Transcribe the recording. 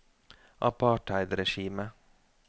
apartheidregimet